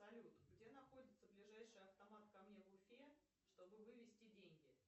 салют где находится ближайший автомат ко мне в уфе что бы вывести деньги